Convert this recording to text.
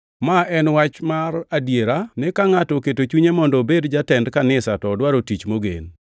Ma en wach mar adiera ni ka ngʼato oketo chunye mondo obed jatend kanisa to odwaro tich mogen.